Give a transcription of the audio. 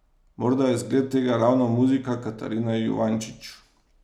Morda je zgled tega ravno muzika Katarine Juvančič.